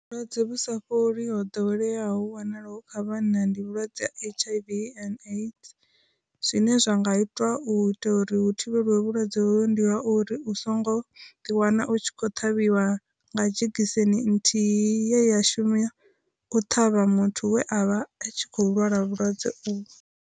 Vhulwadze vhu sa fholi ho ḓoweleaho wanalaho kha vhanna ndi vhulwadze ha hiv aids, zwine zwa nga itiwa u ita uri hu thivhelwe vhulwadze hovho ndi ha u uri u songo ḓi wana u tshi kho ṱhavhiwa nga dzhekiseni nthihi ye ya shumiswa u ṱhavha muthu we avha a tshi kho lwala vhulwadze uvho.